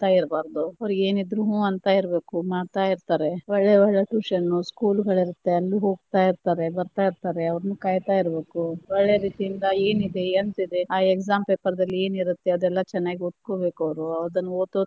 ಇರ್ಬಾರ್ದು ಅವ್ರಿಗೆ ಏನ್ ಇದ್ರುಹ್ಮ್ ಅಂತಾ ಇರ್ಬೇಕು ಮಾಡ್ತಾ ಇರತಾರೆ, ಒಳ್ಳೆ ಒಳ್ಳೆ tuition ನು school ಗಳರುತ್ತೆ ಅಲ್ಲಿ ಹೋಗ್ತಾ ಇರ್ತಾರೆ ಬರತ್ತಾ ಇರ್ತಾರೆ ಅವರನ್ನು ಕಾಯ್ತಾಯಿರಬೇಕು, ಒಳ್ಳೆ ರೀತಿಯಿಂದ ಏನಿದೆ ಎಂತಿದೆ ಆ exam paper ದಲ್ಲಿ ಏನಿರತ್ತೆ ಅದನ್ನ ಚನ್ನಾಗಿ ಓದ್ಕೊಬೇಕ್ ಅವ್ರು ಅದನ್ನ ಓದೊ.